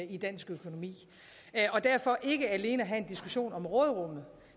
i dansk økonomi og derfor ikke alene have en diskussion om råderummet